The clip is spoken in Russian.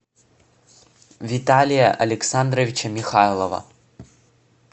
виталия александровича михайлова